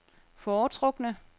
foretrukne